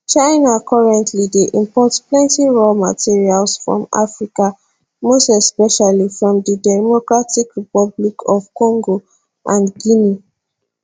china currently dey import plenty raw materials from africa most especially from di democratic republic of congo and guinea